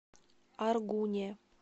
аргуне